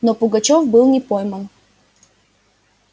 но пугачёв не был пойман